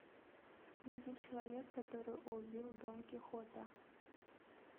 найди человек который убил дон кихота